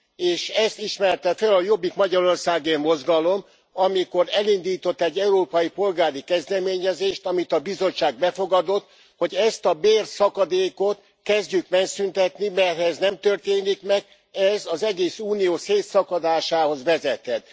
És ezt ismerte föl a Jobbik Magyarországért Mozgalom, amikor elindított egy európai polgári kezdeményezést, amit a Bizottság befogadott, hogy ezt a bérszakadékot kezdjük megszüntetni, mert ha ez nem történik meg, ez az egész Unió szétszakadásához vezethet.